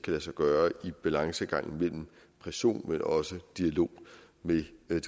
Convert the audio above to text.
lade sig gøre i balancegangen mellem pression men også dialog med de